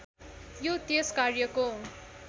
यो त्यस कार्यको